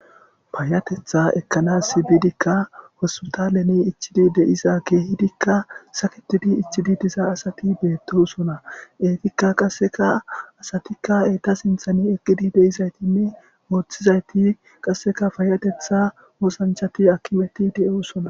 Payyatheththaa ekkanas bidikka hospithalezan ichchidi de7iza keehidikka sakeththidi ichchi diza asathi beeththoosona; eethikka qassika asathika eetha sinththani eqqi de7izaythinne woththizaythi qassikka payyatheththaa oosanchchathi aakimethi de7oosona.